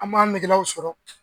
An b'an nɛgelaw sɔrɔ.